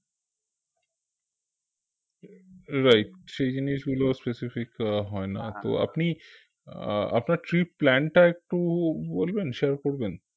right সেই জিনিসগুলো specific আহ হয় না তো আপনি আহ আপনার trip plan টা একটু বলবেন share করবেন